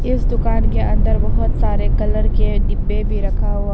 इस दुकान के अंदर बहुत सारे कलर के डिब्बे भी रखा हुआ--